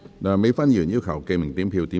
梁美芬議員要求點名表決。